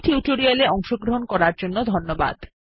এই টিউটোরিয়াল এ অংশগ্রহন করার জন্য ধন্যবাদ